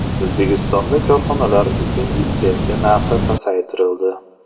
O‘zbekistonda korxonalar uchun litsenziya narxi pasaytirildi.